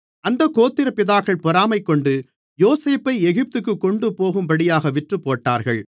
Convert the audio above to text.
அந்தக் கோத்திரப்பிதாக்கள் பொறாமைகொண்டு யோசேப்பை எகிப்துக்குக் கொண்டுபோகும்படியாக விற்றுப்போட்டார்கள்